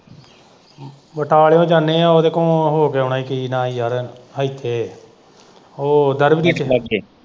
ਬਟਾਲੇ ਓ ਜਾਣੇ ਆ ਉਹਦੇ ਕੋਲ਼ੋ ਹੋ ਕੇ ਆਉਣਾ ਕਿ ਨਾਂ ਇਹ ਯਾਰ ਇੱਥੇ ਉਹ ਦਰਬਜੀਤ ਲਾਗੇ।